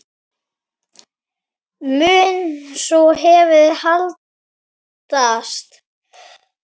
Mun sú hefð haldast?